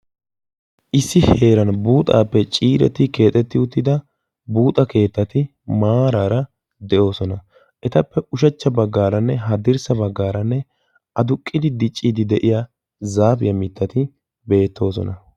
issi heeran buuxaappe ciireti keexetti uttida buuxa keettati maaraara de'oosona etappe ushachcha baggaaranne haddirssa baggaaranne aduqqidi dicciidi de'iya zaafiyaa mittati beettoosona